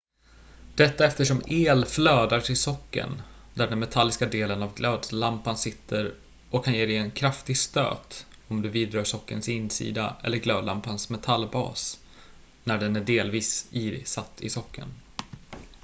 detta eftersom el flödar till sockeln där den metalliska delen av glödlampan sitter och kan ge dig en kraftig stöt om du vidrör sockelns insida eller glödlampans metallbas när den är delvis isatt i sockeln